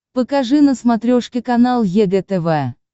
покажи на смотрешке канал егэ тв